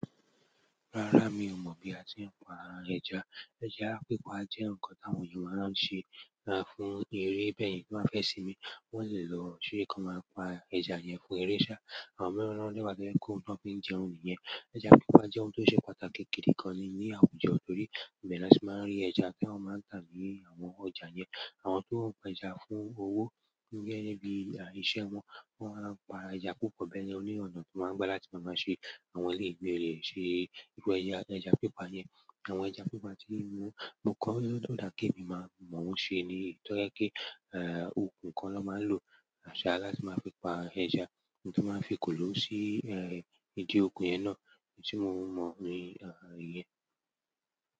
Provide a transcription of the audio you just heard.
Rara mio mo bi a se n pa ẹja ẹja pípa jẹ́ ǹkan táwọn ènìyàn máa ń ṣe fún eré, bẹ́ẹ̀ ni tí wọ́n fẹ́ sinmi. Wọ́n lè lo ṣeré kan máa pa ẹja yẹn fún eré sá. Àwọn mìíràn na dẹ́ wa to je pe oun tiwon fi n jẹun nìyẹn. Ẹja pípa jẹ́ ohun tó ṣe pàtàkì gidi gan ní àwùjọ, torí ìbe ni won ti máa ń rí ẹja ti wọ́n máa tà á ní àwọn ọjà yẹn. Àwọn ton peja fún owo nibi iṣẹ́ won, won man peja púpọ̀ beyen oni ọ̀nà ti won ma n gba láti ma se àwọn eleyi, láti se ẹja pipa yen. Àwọn ẹja pípa tí mo kọ́, ó dà kí èmi máa mọ̀ ó ṣe ni. To je pe. Eh, okùn kan ló máa ń lo àṣà láti máa fi pa ẹja. Mo tun máa ń fi ekólọ́ sí, eh, ìdí okùn yẹn náà. Èyí tí mo mọ̀ ni àh yẹn.